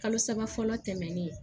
Kalo saba fɔlɔ tɛmɛnen